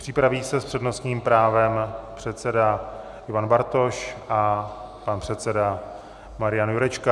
Připraví se s přednostním právem předseda Ivan Bartoš a pan předseda Marian Jurečka.